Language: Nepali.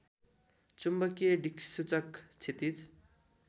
चुम्बकीय दिक्सूचक क्षितिज